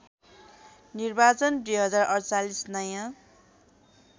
निर्वाचन २०४८ नयाँ